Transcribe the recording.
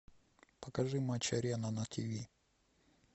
покажи матч арена на тв